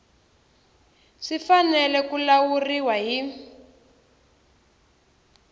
swi fanele ku lawuriwa hi